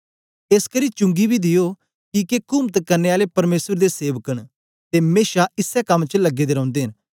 एसकरी चुंगी बी दियो किके कुमत करने आले परमेसर दे सेवक न ते मेशा इसै कम च लगे दे रौंदे न